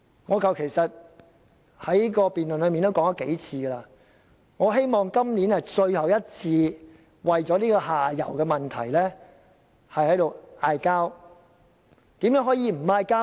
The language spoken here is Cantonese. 我在辯論時已數次提到，我希望今年是我們最後一次為這個下游問題爭論，怎樣才可以停止爭論？